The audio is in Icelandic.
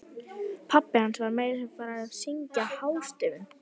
Pabbi hans var meira að segja farinn að syngja hástöfum!